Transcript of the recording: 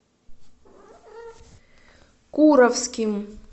куровским